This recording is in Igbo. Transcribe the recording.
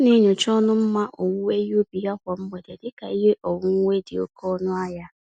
Ọ na-enyocha ọnụ mma owuwe ihe ubi ya kwa mgbede dị ka ihe onwunwe dị oke ọnụ ahịa.